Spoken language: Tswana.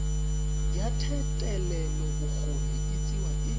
ya thetelelobokgoni e tsewa e